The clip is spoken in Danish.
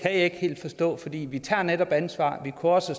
ikke helt forstå for vi vi tager netop ansvar vi kunne også